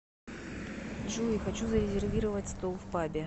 джой хочу зарезервировать стол в пабе